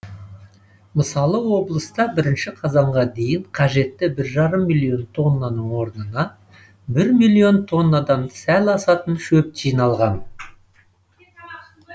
мысалы облыста бірінші қазанға дейін қажетті бір жарым миллион тоннаның орнына бір миллион тоннадан сәл асатын шөп жиналған